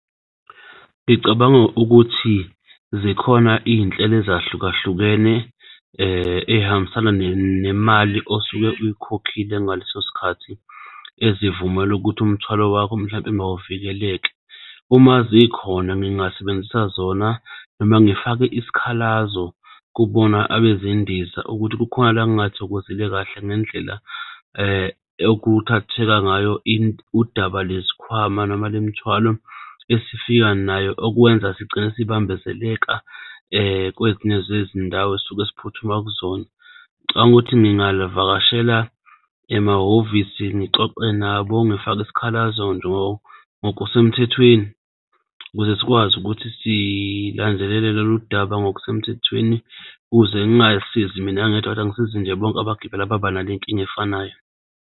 Ngicabanga ukuthi zikhona iy'nhlelo ezahlukahlukene ey'hambisana nemali osuke uyikhokhile ngaleso sikhathi, ezivumela ukuthi umthwalo wakho mhlawumpe mawuvikeleke. Uma zikhona ngingasebenzisa zona noma ngifake isikhalazo kubona abezendiza ukuthi kukhona la ngingathokozile kahle ngendlela okuthatheka ngayo udaba lwezikhwama noma lemithwalo esifika nayo, okwenza sigcine sibambezeleka kwezinye zezindawo esisuka siphuthuma kuzona. Ngicabanga ukuthi ngingaluvakashela emahhovisi ngixoxe nabo, ngifake isikhalazo nje ngokusemthethweni, ukuze sikwazi ukuthi silandelele loludaba ngokusemthethweni ukuze ngingay'sizi mina ngedwa ngisize nje bonke abagibeli ababa nale nkinga efanayo.